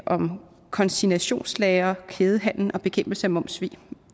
om konsignationslagre kædehandel og bekæmpelse af momssvig